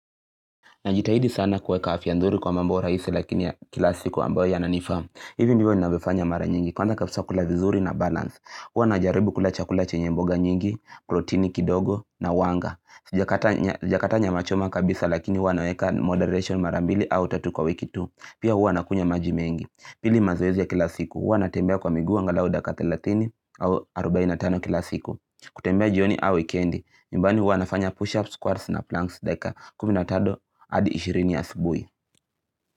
Najitahidi sana kuweka afya nzuri kwa mambo rahisi lakini kila siku ambayo yananifaa. Hivi ndivyo ninavyo fanya mara nyingi. Kwanza kabisa kula vizuri na balance. Huwa najaribu kula chakula chenye mboga nyingi, protini kidogo na wanga. Sijakata nyama choma kabisa lakini huwa naweka moderation mara mbili au tatu kwa wiki tu. Pia huwa na kunywa maji mengi. Pili mazoezi ya kila siku. Huwa na tembea kwa miguu angalau dakika 30 au 45 kila siku. Kutembea jioni au wikendi. Nyumbani wanafanya push-ups, squats na planks. Kumi natano hadi ishirini ya asibuhi.